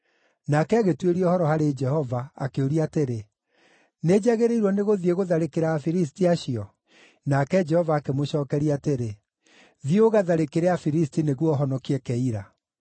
Nake agĩtuĩria ũhoro harĩ Jehova, akĩũria atĩrĩ, “Nĩnjagĩrĩirwo nĩgũthiĩ gũtharĩkĩra Afilisti acio?” Nake Jehova akĩmũcookeria atĩrĩ, “Thiĩ ũgatharĩkĩre Afilisti nĩguo ũhonokie Keila.”